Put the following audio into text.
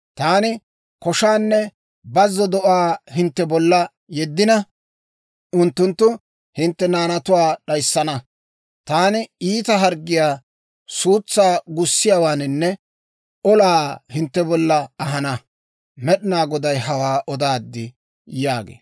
Taani koshaanne bazzo do'aa hintte bolla yeddina, unttunttu hintte naanatuwaa d'ayissana. Taani iita harggiyaa, suutsaa gussiyaawaanne olaa hintte bolla ahana. Med'inaa Goday hawaa odaad» yaagee.